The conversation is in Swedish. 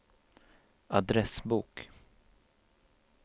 adressbok